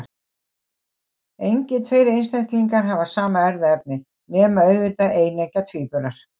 Engir tveir einstaklingar hafa sama erfðaefni, nema auðvitað eineggja tvíburar.